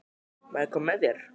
Má ég koma með þér?